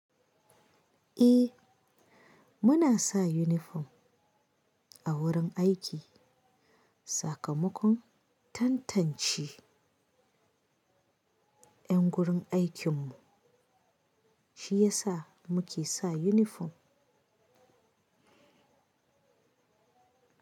Eh muna sa unifom a wurin aiki. Sakamakon tantance yan gurin aikin mu shi yasa muke sa unifom.